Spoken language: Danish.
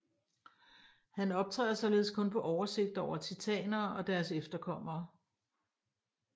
Han optræder således kun på oversigter over titanerne og deres efterkommere